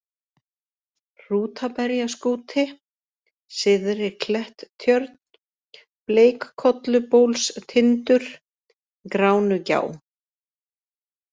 Hrútaberjaskúti, Syðri-Kletttjörn, Bleikkollubólstindur, Gránugjá